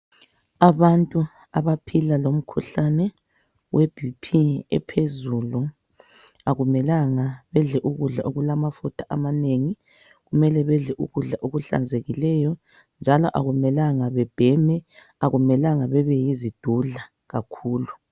Abantu abaphila lomkhuhlane weBP ephezulu. Akumelanga bedle ukudla okulamafutha amanengi, kumele bedle ukudla okuhlanzekileyo. Njalo akumelanga bebheme, akumelanga bebeyizidudla kakhulu.